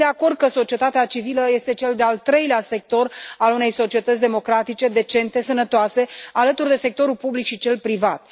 Sunt de acord că societatea civilă este cel de al treilea sector al unei societăți democratice, decente, sănătoase, alături de sectorul public și cel privat.